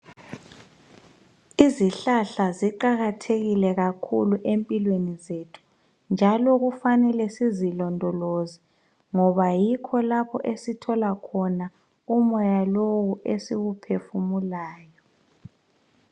Izihlahla ziqakathekile kakhulu empilweni zethu njalo kufanele sizilondoloze ngoba yikho lapho esithola khona umoya lowo esiwuphefumulayo.